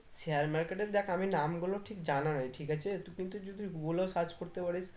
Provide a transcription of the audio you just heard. share market এর দেখ আমি নামগুলো ঠিক জানা নেই ঠিক আছে তো কিন্তু যদি google এও search করতে পারিস